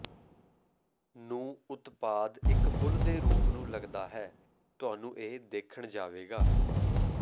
ਨੂੰ ਉਤਪਾਦ ਇੱਕ ਫੁੱਲ ਦੇ ਰੂਪ ਨੂੰ ਲੱਗਦਾ ਹੈ ਤੁਹਾਨੂੰ ਇਹ ਦੇਖਣ ਜਾਵੇਗਾ